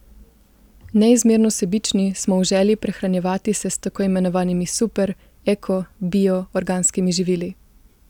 Neizmerno sebični smo v želji prehranjevati se s tako imenovanimi super, eko, bio, organskimi živili.